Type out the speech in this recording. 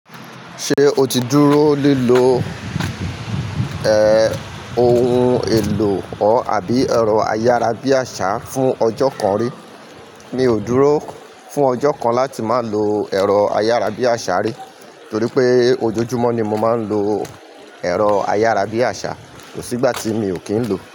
Ṣé o ti dúró lílọ, ẹ́, ohun èlò ọ̀ àbí ẹ̀rọ ayárabíàṣá fún ọjọ́ kan rí? Mi ò dúró fún ọjọ́ kan láti má lọ ẹ̀rọ ayárabíàṣá rí, torí pé ojoojúmọ́ ni mo máa ń lo ẹ̀rọ ayárabíàṣá, kó sìgbà tí mi ò kí ń lo.